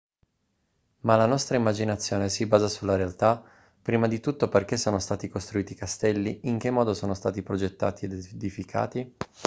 ma la nostra immaginazione si basa sulla realtà prima di tutto perché sono stati costruiti i castelli in che modo sono stati progettati ed edificati